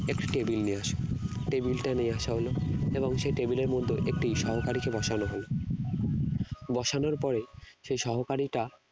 next table নিয়ে আসা table টা নিয়ে আসা হলো এবং সেই table এর মধ্যে একটি সহকারীকে বসানো হলো বসানোর পরে সেই সহকারীটা